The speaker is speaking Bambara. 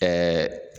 Ɛɛ